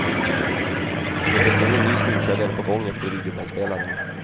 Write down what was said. Det finns ingen ny storsäljare på gång efter videobandspelaren.